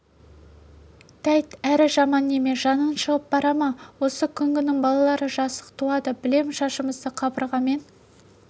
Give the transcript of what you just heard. тәйт әрі жаман неме жаның шығып бара ма осы күнгінің балалары жасық туады білем шашымызды қабырғамен